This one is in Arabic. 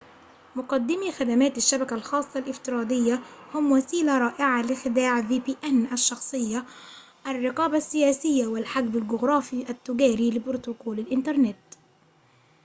مقدمي خدمات الشبكة الخاصة الافتراضية الشخصية vpn هم وسيلة رائعة لخداع الرقابة السياسية والحجب الجغرافي التجاري لبروتوكول الإنترنت